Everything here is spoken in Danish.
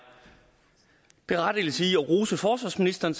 berettigelse i at rose forsvarsministeren